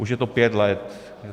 - Už je to pět let.